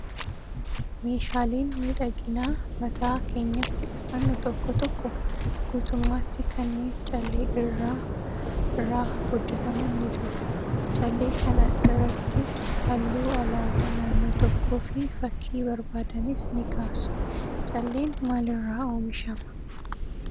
Meeshaaleen miidhaginaa mataa keenyatti uffannu tokko tokko guutummaatti kanneen callee irraa irraa hojjataman ni jiru. Callee kana iraattis halluu alaabaa naannoo tokkoo fi fakkii barbaadanis ni kaasu. Calleen maalirraa oomishamaa?